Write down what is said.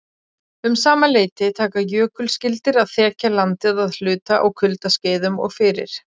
Um sama leyti taka jökulskildir að þekja landið að hluta á kuldaskeiðum og fyrir